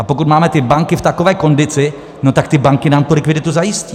A pokud máme ty banky v takové kondici, no tak ty banky nám tu likviditu zajistí.